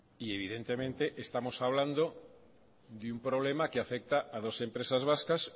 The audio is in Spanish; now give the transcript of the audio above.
y evidentemente estamos hablando de un problema que afecta a dos empresas vascas